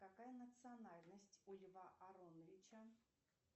какая национальность у льва ароновича